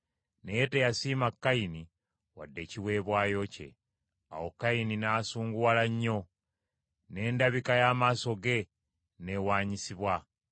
Naye teyasiima Kayini wadde ekiweebwayo kye. Awo Kayini n’asunguwala nnyo, n’endabika y’amaaso ge n’ewaanyisibwa.